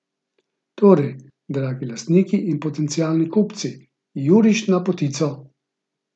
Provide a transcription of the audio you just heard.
Torej, dragi lastniki in potencialni kupci, juriš na potico.